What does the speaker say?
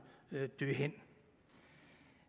dø hen